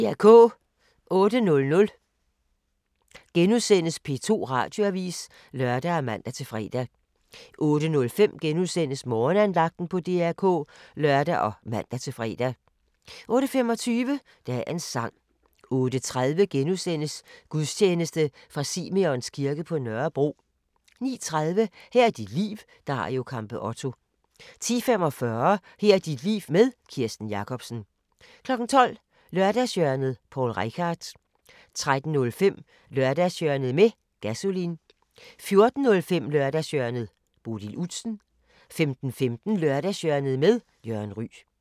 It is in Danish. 08:00: P2 Radioavis *(lør og man-fre) 08:05: Morgenandagten på DR K *(lør og man-fre) 08:25: Dagens sang 08:30: Gudstjeneste fra Simeons kirke på Nørrebro * 09:30: Her er dit liv – Dario Campeotto 10:45: Her er dit liv med Kirsten Jakobsen 12:00: Lørdagshjørnet – Poul Reichhardt 13:05: Lørdagshjørnet med Gasolin 14:05: Lørdagshjørnet - Bodil Udsen 15:15: Lørdagshjørnet med Jørgen Ryg